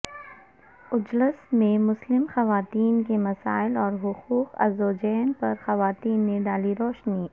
اجلاس میں مسلم خواتین کے مسائل اور حقوق الزوجین پر خواتین نے ڈالی روشنی